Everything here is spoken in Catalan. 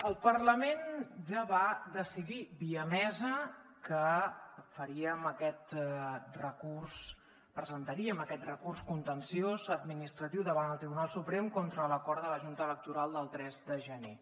el parlament ja va decidir via mesa que faríem aquest recurs presentaríem aquest recurs contenciós administratiu davant el tribunal suprem contra l’acord de la junta electoral del tres de gener